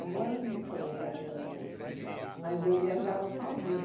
Agora não estou viajando muito, mas eu viajava sozinha.